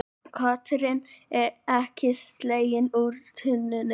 Kötturinn ekki sleginn úr tunnunni